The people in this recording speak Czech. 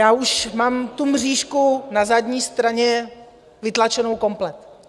Já už mám tu mřížku na zadní straně vytlačenou komplet.